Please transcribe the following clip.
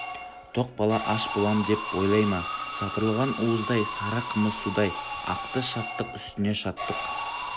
тоқ бала аш болам деп ойлай ма сапырылған уыздай сары қымыз судай ақты шаттық үстіне шаттық